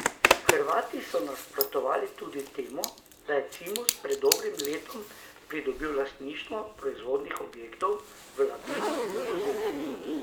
Hrvati so nasprotovali tudi temu, da je Cimos pred dobrim letom pridobil lastništvo proizvodnih objektov v Labinu in Buzetu.